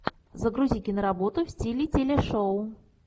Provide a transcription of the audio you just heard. загрузи киноработу в стиле телешоу